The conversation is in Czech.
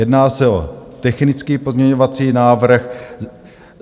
Jedná se o technický pozměňovací návrh.